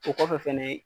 O kɔfɛ fɛnɛ